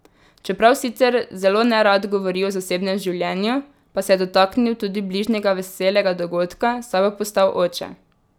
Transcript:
Čeprav sicer zelo nerad govori o zasebnem življenju, pa se je dotaknil tudi bližnjega veselega dogodka, saj bo postal oče.